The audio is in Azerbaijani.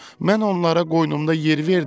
Mən onlara qoynumda yer verdim.